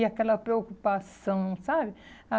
E aquela preocupação, sabe?